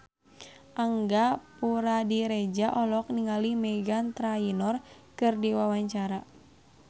Angga Puradiredja olohok ningali Meghan Trainor keur diwawancara